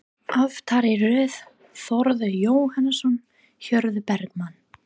Aftari röð: Þórður Jóhannsson, Hörður Bergmann